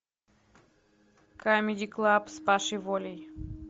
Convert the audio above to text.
камеди клаб с пашей волей